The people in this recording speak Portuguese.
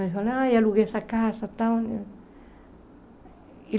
Eu falei, ah, aluguei essa casa e tal.